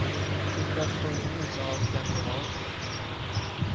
Till dess får vi njuta av dem vi har.